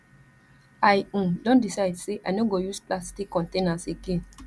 i um don decide sey i no go use plastic containers again